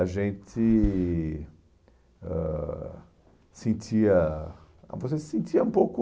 A gente ãh sentia... ah, você se sentia um pouco...